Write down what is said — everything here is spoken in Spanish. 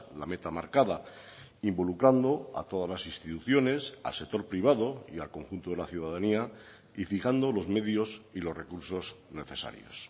la meta marcada involucrando a todas las instituciones al sector privado y al conjunto de la ciudadanía y fijando los medios y los recursos necesarios